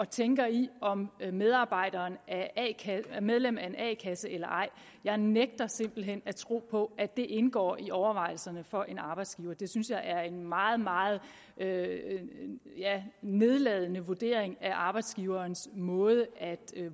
tænker i om medarbejderen er medlem af en a kasse eller ej jeg nægter simpelt hen at tro på at det indgår i overvejelserne for en arbejdsgiver det synes jeg er en meget meget nedladende vurdering af arbejdsgiverens måde at